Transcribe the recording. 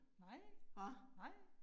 Nej. Nej